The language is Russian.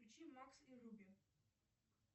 включи макс и руби